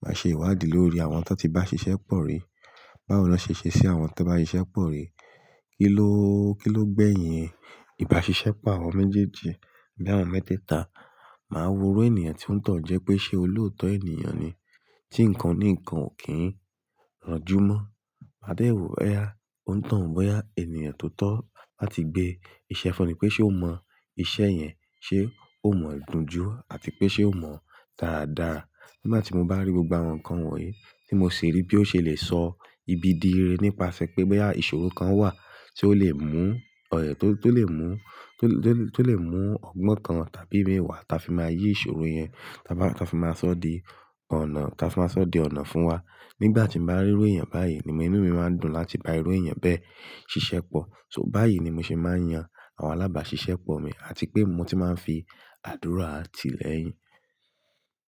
Máa ṣe ìwádìí lórí àwọn tó ti bá ṣiṣẹ́pọ̀ rí, báwo ni wọ́n ṣe ṣe sí àwọn tó bá ṣiṣẹ́pọ̀ rí, kiloo, kilo gbẹ̀yìn ìbáṣiṣẹ́pọ̀ àwọn méjèèjì, bi àwọn mẹ́tẹ́ẹ̀ta. Màá wo irú ènìyàn tí ó ń tọ̀ n jẹ́ pé ṣe olóòótọ́ ènìyàn ni, tí nǹkan ní nǹkan ò kí ń ranjú mọ́. Maadẹ wo bóyá, ó ń tọ̀n bóyá, ènìyàn tó tọ́ láti gbé iṣẹ́ fún ni pé ṣe ó mọ iṣẹ́ yẹn, ṣe ó mọ̀ ń do jú àti pé ṣe ó mọ̀ dáadáa. Nígbà tí mo bá rí gbogbo àwọn nǹkan wọ̀nyí tí mo sì rí bí ó ṣe le sọ ibi di ire nípasẹ̀ pé bóyá ìṣòro kan wà tí ó lè mú, ọ̀yẹ́ tó lè mú, tó lè mú ọgbọ́n kan tàbí ìmí wa ta fi máa yí ìṣòro yẹn, ta fi máa sọ di ọ̀nà, ta fi máa sọ di ọ̀nà fún wa. Nígbà tí mo bá rí ru èèyàn báyìí ni inú mi máa ń dùn láti bá irú èèyàn bẹ́ẹ̀ ṣiṣẹ́pọ̀. So báyìí ni mo ṣe máa ń yan àwọn alábàáṣiṣẹ́pọ̀ mi àti pé mo ti máa ń fi àdúrà ti lẹ́yìn.